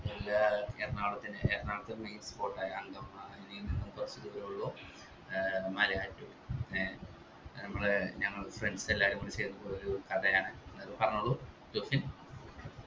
എറണാകുളത്തിന് എറണാകുളത്തിന് spot ആണ് അങ്ക ഉള്ളു ഏർ മലയാറ്റൂർ ഏർ നമ്മള് ഞങ്ങൾ friends എല്ലാരും കൂടെ ചെറുള്ളൊരു കഥയാണ് പറഞ്ഞോളൂ ജോസ് വിൻ